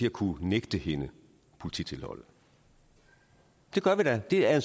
at kunne nægte hende polititilholdet det gør vi da det er